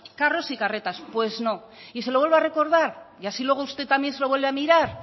carros y carretas pues no y se lo vuelvo a recordar y así luego usted también se lo vuelve a mirar